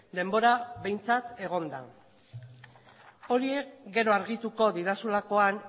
denbora behintzat egon da horiek gero argituko didazulakoan